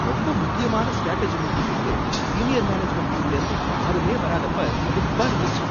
ரொம்ப முக்கியமான ஸ்ட்ராட்டஜி மீட்டிங்குக்கு சீனியர் மேனேஜ்மென்ட் டீம்லேந்து யாருமே வராதப்ப கடுப்பா இருந்துச்சு.